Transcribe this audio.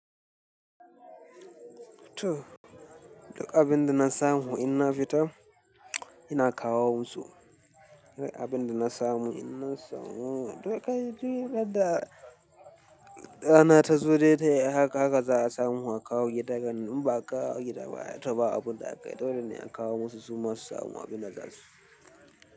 Toh, duk abin da na samu in na fita, ina kawo musu. Duk abin da na samu, in na samu. Duk kai, duk yarda rana ta zo dai tai a haka, haka za a samu a kawo gida ni. In ba akawo a gida ba a toba abun da aka yi, dolene a kawo musu su ma su samu abin da za su.